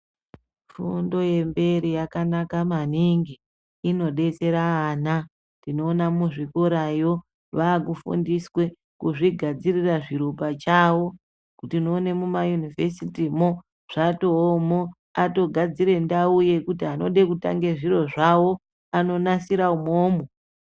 Fundo yemberi yakanaka maningi, inodetsera ana. Tinoona muzvikorayo vaakufundiswe kuzvigadzirira zviro pachavo. Tinoone muma Yunivesiti mo zvatoomo. Atogadzire ndau yekuti anode kutange zviro zvawo anonasira umomo.